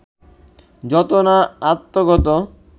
যত না আত্মগত